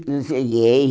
não cheguei.